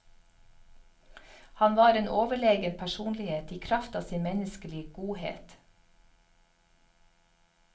Han var en overlegen personlighet i kraft av sin menneskelige godhet.